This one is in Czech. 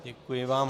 Děkuji vám.